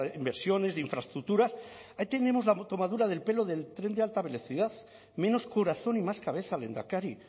inversiones de infraestructuras ahí tenemos la tomadura de pelo del tren de alta velocidad menos corazón y más cabeza lehendakari